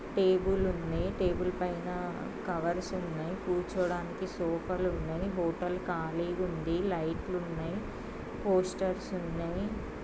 Tables ఉన్నాయి table పైన covers ఉన్నాయి కూర్చోడానికి సోఫా లు ఉన్నాయి హాటల్ ఖాళీగా ఉన్నాయి లైట్ ఉన్నాయి పోస్టర్స్ ఉన్నాయి.